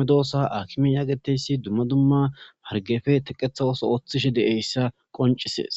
nago ossoakimeti hargeffe teqqetha osso othishe dizzayssa qon isses.